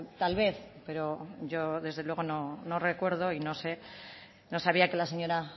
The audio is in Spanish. tal vez pero yo desde luego no recuerdo y no sabía que la señora